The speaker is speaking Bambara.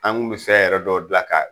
An kun bi fɛn yɛrɛ dɔw gila ka